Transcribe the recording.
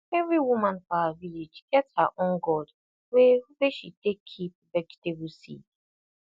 every woman for our village get her own gourd wey wey she take keep vegetable seed